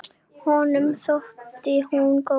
Honum þótti hún góð.